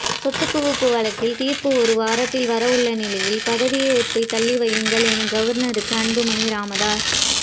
சொத்துகுவிப்பு வழக்கில் தீர்ப்பு ஒருவாரத்தில் வர உள்ள நிலையில் பதவி ஏற்பை தள்ளி வையுங்கள் என கவர்னருக்கு அன்புமணி ராமதாஸ்